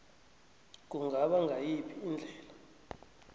kungaba ngayiphi indlela